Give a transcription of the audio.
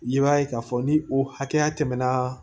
I b'a ye k'a fɔ ni o hakɛya tɛmɛna